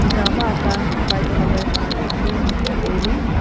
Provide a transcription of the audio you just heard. cha ma ata ham white colour ma zingley tailey.